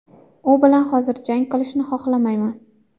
U bilan hozir jang qilishni xohlamayman.